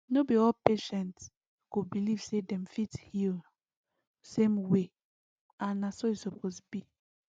no be all patient go believe say dem fit heal same way and na so e suppose be